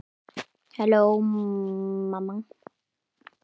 Svartur húmor.